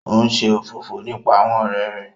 O n ṣe òfófó nípa àwọn ọrẹ rẹ